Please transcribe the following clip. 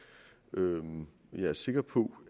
hvordan man ser på